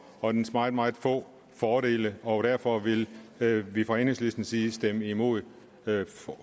og dets meget meget få fordele og derfor vil vil vi fra enhedslistens side stemme imod